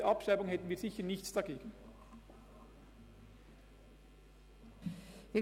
Wir hätten sicher nichts gegen eine Abschreibung.